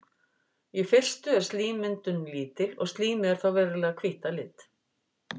í fyrstu er slímmyndun lítil og slímið er þá venjulega hvítt að lit